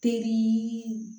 Teri